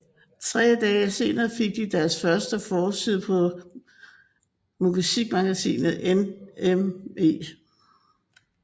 Tre dage senere fik de deres første forside på musikmagasinet NME